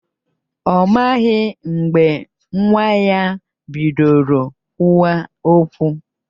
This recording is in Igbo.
Ọ maghị mgbe nwa ya bidoro kwụwa okwu